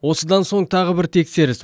осыдан соң тағы бір тексеріс